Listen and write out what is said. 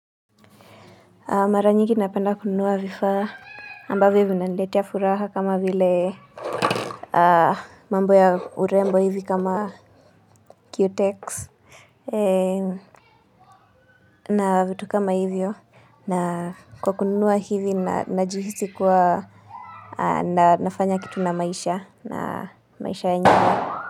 Mara nyingi napenda kununua vifaa ambavyo vinaniletea furaha kama vile mambo ya urembo hivi kama cutex. Na vitu kama hivyo. Na kwa kununua hivi najihisi kuwa na nafanya kitu na maisha na maisha ya nyingi.